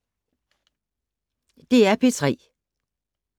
DR P3